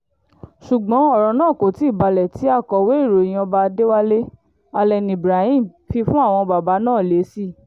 ṣùgbọ́n ọ̀rọ̀ náà kò tí ì balẹ̀ tí akọ̀wé ìròyìn ọba adéwálé allen ibrahim fi fún àwọn bàbá náà lésì